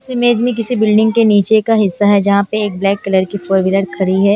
इस इमेज में किसी बिल्डिंग के नीचे का हिस्सा है जहां पे एक ब्लैक कलर की फोर व्हीलर खड़ी है।